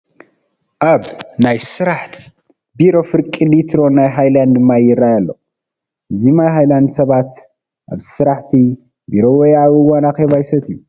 ኣብ ናይ ስራሕ ቢሮ ፍርቂ ሊትሮ ናይ ሃይላንድ ማይ ይራኣይ ኣሎ፡፡ እዚ ማይ ሃይላንድ ሰባት ኣብ ስራሕቲ ቢሮ ወይ ኣብ እዋን ኣኼባ ይሰትይዎ፡፡